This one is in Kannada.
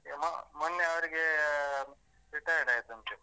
ಎ ಮೊ~ ಮೊನ್ನೆ ಅವ್ರಿಗೆ retired ಆಯ್ತಂತೆ.